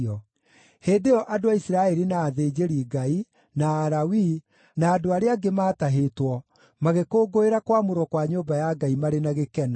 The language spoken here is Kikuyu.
Hĩndĩ ĩyo andũ a Isiraeli na athĩnjĩri-Ngai, na Alawii, na andũ arĩa angĩ maatahĩtwo, magĩkũngũĩra kwamũrwo kwa nyũmba ya Ngai marĩ na gĩkeno.